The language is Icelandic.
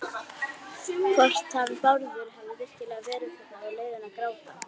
Hvort hann Bárður hefði virkilega verið þarna á leiðinu að gráta.